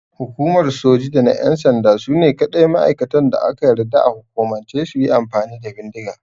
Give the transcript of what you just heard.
Hukumar Soji da na ƴan sanda sune kaɗai ma'aikatan da aka yarda a hukumance suyi amfani da bindiga.